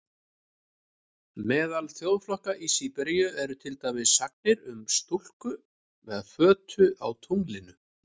Meðal þjóðflokka í Síberíu eru til dæmis sagnir um stúlku með fötu á tunglinu.